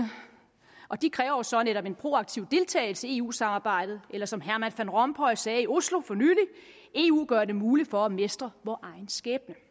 og de krævede jo så netop en proaktiv deltagelse i eu samarbejdet eller som herman van rompuy sagde i oslo for nylig eu gør det muligt for os at mestre vor egen skæbne